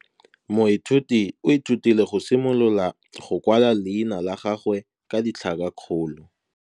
Moithuti o ithutile go simolola go kwala leina la gagwe ka tlhakakgolo.